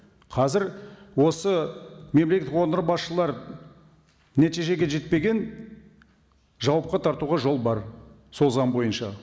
қазір осы мемлекет органдар басшылары нәтижеге жетпеген жауапқа тартуға жол бар сол заң бойынша